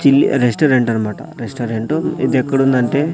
చిల్లి restaurant అన్నమాట restaurant ఇది ఎక్కడ ఉందంటే.